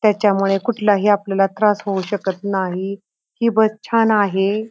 त्याच्यामुळे आपल्याला कुठलाही त्रास होऊ शकत नाही ही बस छान आहे.